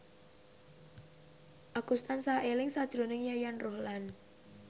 Agus tansah eling sakjroning Yayan Ruhlan